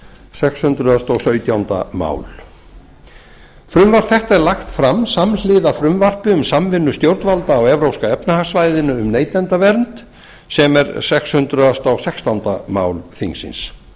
sex hundruð og sautjánda mál frumvarpið er lagt fram samhliða frumvarpi um samvinnu stjórnvalda á evrópska efnahagssvæðinu um neytendavernd sem er sex hundruð og sextándu mál þingsins